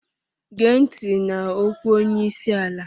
Gee ntị n'okwu onye isi ala!